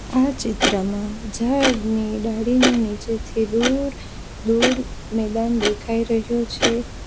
આ ચિત્રમાં ઝાડની ડાળીને નીચેથી દૂર દૂર મેદાન દેખાઈ રહ્યો છે.